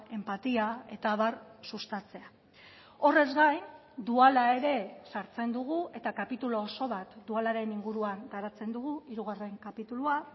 enpatia eta abar sustatzea horrez gain duala ere sartzen dugu eta kapitulu oso bat dualaren inguruan garatzen dugu hirugarren kapitulua